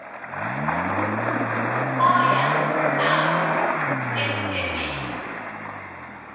oya nabo emsemeni